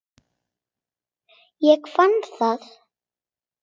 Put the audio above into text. Ég fann það.